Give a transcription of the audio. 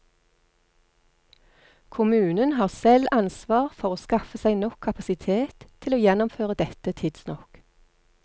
Kommunen har selv ansvar for å skaffe seg nok kapasitet til å gjennomføre dette tidsnok.